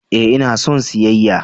Ee, ina son siyayya!